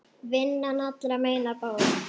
Vinnan allra meina bót.